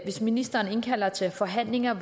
hvis ministeren indkalder til forhandlinger at